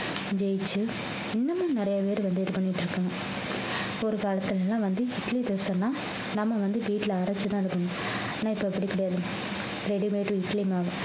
ஜெயிச்சு இன்னமும் நிறைய பேர் வந்து இது பண்ணிட்டு இருக்காங்க ஒரு காலத்துல எல்லாம் வந்து இட்லி தோசை எல்லாம் நம்ம வந்து வீட்டுல அரைச்சுதான் இருக்கணும் ஆனா இப்ப அப்படி கிடையாது ready made இட்லி மாவு